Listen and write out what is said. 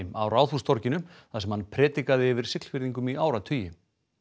á Ráðhústorginu þar sem hann predikaði yfir Siglfirðingum í áratugi